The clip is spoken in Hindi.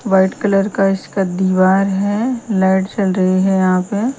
व्हाइट कलर का इसका दीवार है। लाइट जल रही है यहां पे।